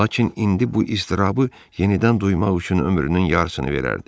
Lakin indi bu iztirabı yenidən duymaq üçün ömrünün yarısını verərdi.